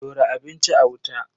Dora abinci a wuta.